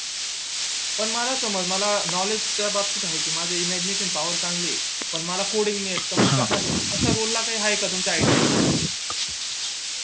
पण मला समज मला knowledge त्या बाबतीत आहे माझी imagination power चांगली ये पण मला coding नई येत समजा तश्या role ला काही आहे का तुमच्या idea